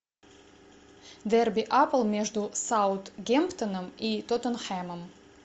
дерби апл между саутгемптоном и тоттенхэмом